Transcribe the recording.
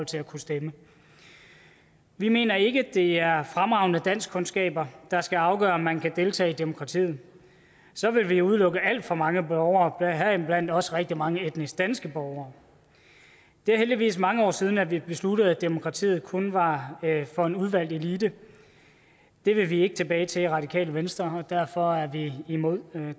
til at kunne stemme vi mener ikke at det er fremragende danskkundskaber der skal afgøre om man kan deltage i demokratiet så ville vi udelukke alt for mange borgere heriblandt også rigtig mange etnisk danske borgere det er heldigvis mange år siden at vi besluttede at demokratiet kun var for en udvalgt elite det vil vi ikke tilbage til i radikale venstre og derfor er vi imod